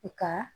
I ka